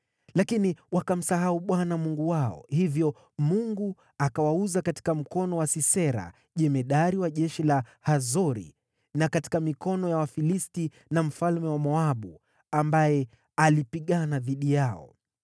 “Lakini wakamsahau Bwana Mungu wao, hivyo Mungu akawauza katika mkono wa Sisera, jemadari wa jeshi la Hazori na katika mikono ya Wafilisti na mfalme wa Moabu, ambaye alipigana dhidi yao.